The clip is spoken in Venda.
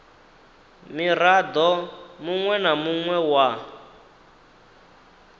mirado munwe na munwe wa